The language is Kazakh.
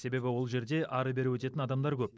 себебі ол жерде әрі бері өтетін адамдар көп